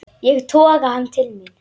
Ég toga hann til mín.